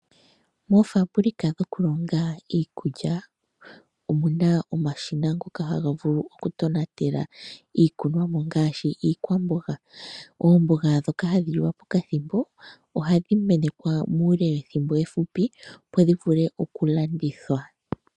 Moofambulika dhoku longa iikulya omuna omashina ngoka haga vulu okutonatela iikunwamo ngaashi iikwamboga. Oomboga dhoka hadhi liwa pokathimbo ohadhi menekwa muule wethimbo efupi opo dhi vule okulandithwa.